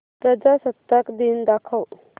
प्रजासत्ताक दिन दाखव